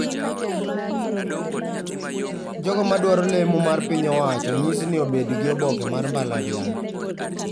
Jogo ma dwaro lemo mar piny owacho onyisi ni obedgi oboke mar mbalariany